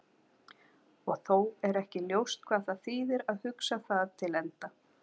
Og þó er ekki ljóst hvað það þýðir að hugsa það til enda.